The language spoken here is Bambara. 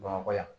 Bamakɔ yan